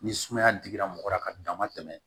Ni sumaya digira mɔgɔ la ka dama tɛmɛ